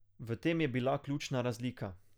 V tem je bila ključna razlika.